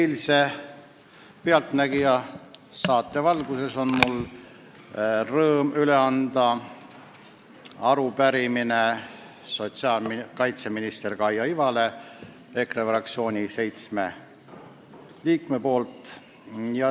Eilse "Pealtnägija" saate valguses on mul rõõm üle anda EKRE fraktsiooni seitsme liikme arupärimine.